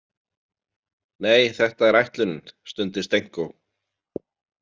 Nei, þetta er ætlunin, stundi Stenko.